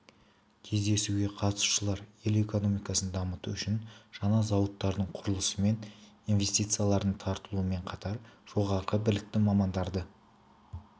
кездесуге қатысушылар ел экономикасын дамыту үшін жаңа зауыттардың құрылысы мен инвестициялардың тартылуымен қатар жоғары білікті мамандарды